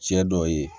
Cɛ dɔw ye